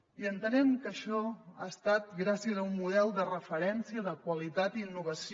i entenem que això ha estat gràcies a un model de referència de qualitat i innovació